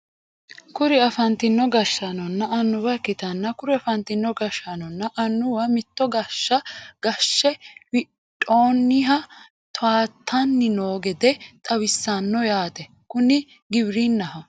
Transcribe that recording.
kuri afantino gashshaanonna annuwa ikkitanna kuri afantino gashshaanonna annuwa mitto gaashsha gaashe windhooniha toyaatanni noo gede xawisanno yaate kuni giwirinnaho.